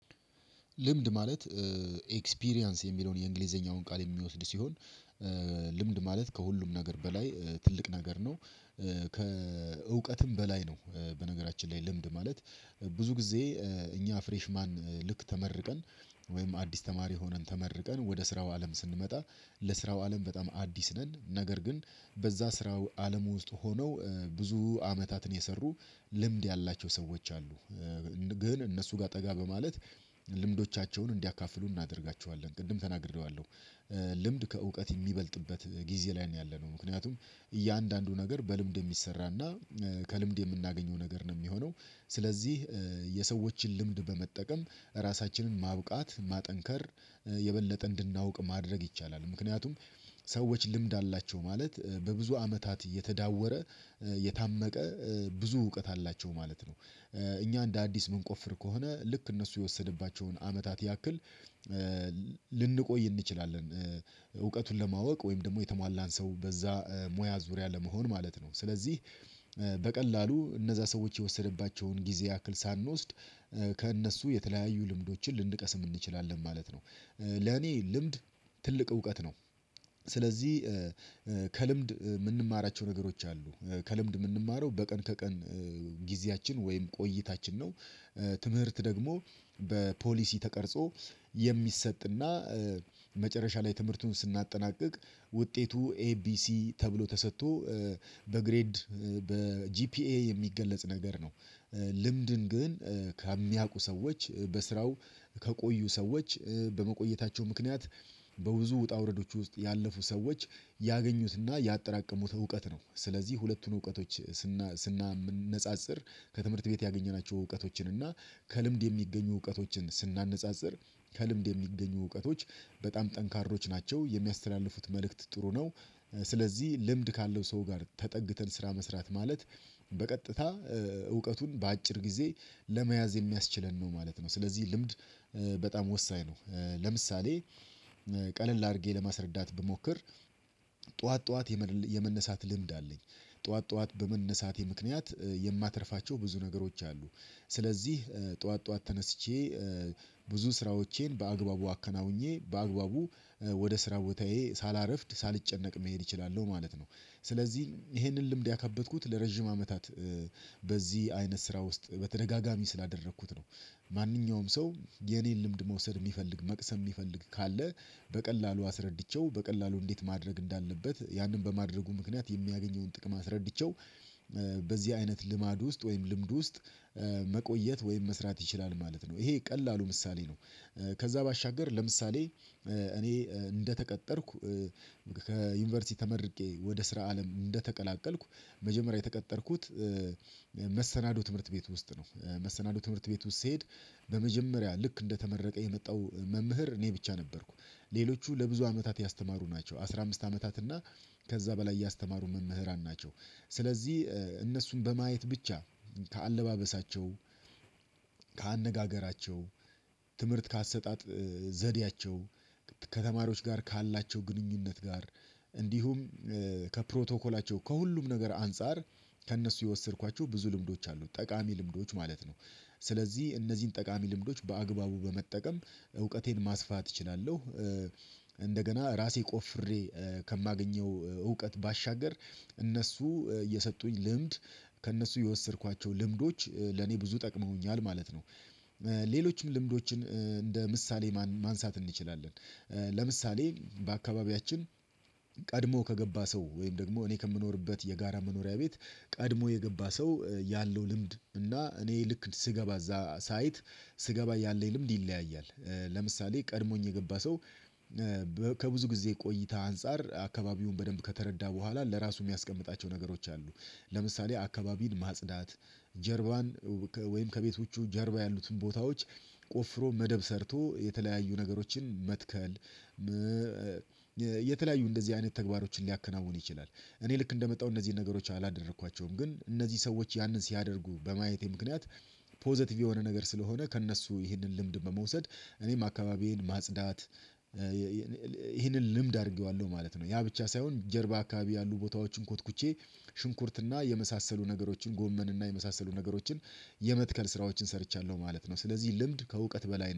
ልምድ ማለት ኤክስፒሪያንስ የሚለውን የእንግሊዘኛውን ቃል የሚወስድ ሲሆን ልምድ ማለት ከሁሉም ነገር በላይ ትልቅ ነገር ነው። ከእውቀትም በላይ ነው በነገራችን ላይ ልምድ ማለት ብዙ ጊዜ እኛ ፍሬሽ ማን ልክ ተመርቀን ወይም አዲስ ተማሪ ሆነን ተመርቀን ወደ ስራው አለም ስንመጣ ለስራው አለም በጣም አዲስ ነን ነገር ግን በዛ ስራው አለም ውስጥ ሆነው ብዙ አመታትን የሰሩ ልምድ ያላቸው ሰዎች አሉ። ግን እነሱ ጋር ጠጋ በማለት ልምዶቻቸውን እንዲያካፍሉን እናደርጋቸዋለን ቅድም ተናግሬዋለሁ። ልምድ ከእውቀት የሚበልጥበት ጊዜ ላይ ነው ያለነው ምክንያቱም እያንዳንዱ ነገር በልምድ የሚሰራና ከልምድ የምናገኘው ነገር ነው የሚሆነው። ስለዚህ የሰዎችን ልምድ በመጠቀም ራሳችንን ማብቃት ማጠንከር የበለጠ እንድናውቅ ማድረግ ይቻላል። ምክንያቱም ሰዎች ልምድ አላቸው ማለት በብዙ አመታት እየተዳወረ የታመቀ ብዙ እውቀት አላቸው ማለት ነው። እኛ እንደ አዲስ የምንቆፍር ከሆነ ልክ እነሱ የወሰደባቸውን አመታት ያክል ልንቆይ እንችላለን። እውቀቱን ለማወቅ ወይም ደግሞ የተሟላን ሰው በዛ ሙያ ዙሪያ ለመሆን ማለት ነው። ስለዚህ በቀላሉ እነዛ ሰዎች የወሰደባቸውን ጊዜ ያክል ሳንወስድ ከእነሱ የተለያዩ ልምዶችን ልንቀስም እንችላለን ማለት ነው። ለኔ ልምድ ትልቅ እውቀት ነው። ስለዚህ ከልምድ የምንማራቸው ነገሮች አሉ ከልምድ የምንማረው በቀን ከቀን ጊዜያችን ወይም ቆይታችን ነው። ትምህርት ደግሞ በፖሊሲ ተቀርጾ የሚሰጥና መጨረሻ ላይ ትምህርቱን ስናጠናቅቅ ውጤቱ ኤቢሲ ተብሎ ተሰጥቶ በግሬድ በጂፒኤ የሚገለጽ ነገር ነው። ልምድን ግን ከሚያውቁ ሰዎች በስራው ከቆዩ ሰዎች በመቆየታቸው ምክንያት በብዙ ውጣ ውረዶች ውስጥ ያለፉ ሰዎች ያገኙትና ያጠራቀሙት እውቀት ነው ስለዚህ ሁለቱን እውቀቶች። ስናነጻጽር ከትምህርት ቤት ያገኘናቸው እውቀቶችን እና ከልምድ የሚገኙ እውቀቶችን ስናነጻጽር ከልምድ የሚገኙ እውቀቶች በጣም ጠንካሮች ናቸው የሚያስተላልፉት መልእክት ጥሩ ነው። ስለዚህ ልምድ ካለው ሰው ጋር ተጠግተን ስራ መስራት ማለት በቀጥታ እውቀቱን በአጭር ጊዜ ለመያዝ የሚያስችለን ነው ማለት ነው። ስለዚህ ልምድ በጣም ወሳኝ ነው። ለምሳሌ ቀለል አድርጌ ለማስረዳት ብሞክር ጠዋት ጠዋት የመነሳት ልምድ አለኝ ጠዋት ጠዋት በመነሳቴ ምክንያት የማትርፋቸው ብዙ ነገሮች አሉ ስለዚህ ጠዋት ጠዋት ተነስቼ ብዙ ስራዎቼን በአግባቡ አከናውኜ በአግባቡ ወደ ስራ ቦታዬ ሳላርፍድ ሳልጨነቅ መሄድ እችላለሁ ማለት ነው። ስለዚህ ይሄንን ልምድ ያከበትኩት ለረጅም አመታት በዚህ አይነት ስራ ውስጥ በተደጋጋሚ ስላደረኩት ነው። ማንኛውም ሰው የኔን ልምድ መውሰድ የሚፈልግ መቅሰም የሚፈልግ ካለ በቀላሉ አስረድቼው በቀላሉ እንዴት ማድረግ እንዳለበት ያንን በማድረጉ ምክንያት የሚያገኘውን ጥቅም አስረድቼው። በዚህ አይነት ልማድ ውስጥ ወይም ልምድ ውስጥ መቆየት ወይም መስራት ይችላል ማለት ነው ይሄ ቀላሉ ምሳሌ ነው። ከዛ ባሻገር ለምሳሌ እኔ እንደተቀጠርኩ ከዩኒቨርሲቲ ተመርቄ ወደ ስራ አለም እንደተቀላቀልኩ መጀመሪያ የተቀጠርኩት መሰናዶ ትምህርት ቤት ውስጥ ነው መሰናዶ ትምህርት ቤት ውስጥ ስሄድ በመጀመሪያ ልክ እንደተመረቀ የመጣው መምህር እኔ ብቻ ነበርኩ ሌሎቹ ለብዙ አመታት ያስተማሩ ናቸው አስራ አምስት አመታት እና ከዛ በላይ ያስተማሩ መምህራን ናቸው። ስለዚህ እነሱን በማየት ብቻ ከአለባበሳቸው ከአነጋገራቸው ትምህርት ከአሰጣጥ ዘዴያቸው ከተማሪዎች ጋር ካላቸው ግንኙነት ጋር እንዲሁም ከፕሮቶኮላቸው ከሁሉም ነገር አንፃር ከእነሱ የወሰድኳቸው ብዙ ልምዶች አሉት ጠቃሚ ልምዶች ማለት ነው። ስለዚህ እነዚህን ጠቃሚ ልምዶች በአግባቡ በመጠቀም እውቀቴን ማስፋት እችላለሁ። እንደገና ራሴ ቆፍሬ ከማገኘው እውቀት ባሻገር እነሱ እየሰጡኝ ልምድ ከእነሱ የወሰድኳቸው ልምዶች ለኔ ብዙ ጠቅመውኛል ማለት ነው። ሌሎችም ልምዶችን እንደ ምሳሌ ማንሳት እንችላለን። ለምሳሌ በአካባቢያችን ቀድሞ ከገባ ሰው ወይም ደግሞ እኔ ከምኖርበት የጋራ መኖሪያ ቤት ቀድሞ የገባ ሰው ያለው ልምድ እና እኔ ልክ ስገባ እዛ ሳይት ስገባ ያለኝ ልምድ ይለያያል ለምሳሌ ቀድሞኝ የገባ ሰው ከብዙ ጊዜ ቆይታ አንፃር አካባቢውን በደንብ ከተረዳ በኋላ ለራሱ የሚያስቀምጣቸው ነገሮች አሉ። ለምሳሌ አካባቢን ማጽዳት ጀርባን ወይም ከቤቶቹ ጀርባ ያሉትን ቦታዎች ቆፍሮ መደብ ሰርቶ የተለያዩ ነገሮችን መትከል። የተለያዩ እንደዚህ አይነት ተግባሮችን ሊያከናውኑ ይችላል። እኔ ልክ እንደመጣሁ እነዚህን ነገሮች አላደረኳቸውም ግን እነዚህ ሰዎች ያንን ሲያደርጉ በማየቴ ምክንያት ፖዘቲቭ የሆነ ነገር ስለሆነ ከእነሱ ይህንን ልምድ በመውሰድ እኔም አካባቢዬን ማጽዳት። ይህንን ልምድ አድርጌዋለሁ ማለት ነው ያ ብቻ ሳይሆን ጀርባ አካባቢ ያሉ ቦታዎችን ኮትኩቼ ሽንኩርትና የመሳሰሉ ነገሮችን ጎመን እና የመሳሰሉ ነገሮችን የመትከል ስራዎችን ሰርቻለሁ ማለት ነው። ስለዚህ ልምድ ከእውቀት በላይ ነው